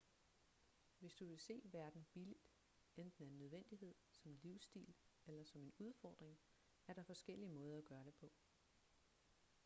hvis du vil se verden billigt enten af nødvendighed som livsstil eller som en udfordring er der forskellige måder at gøre det på